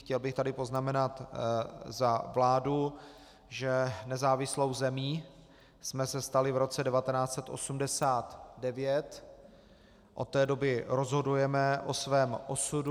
Chtěl bych tady poznamenat za vládu, že nezávislou zemí jsme se stali v roce 1989, od té doby rozhodujeme o svém osudu.